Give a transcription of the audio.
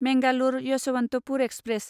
Mangalore Yesvantpur express